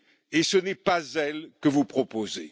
Et ce n'est pas elle que vous proposez.